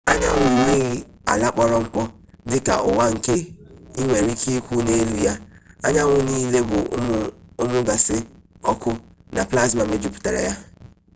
anyanwụ enweghị ala kpọrọ mkpọ dị ka ụwa nke ị nwere ike ịkwụ n'elu ya anyanwụ niile bụ ụmụ gaasị ọkụ na plasma mejupụtara ya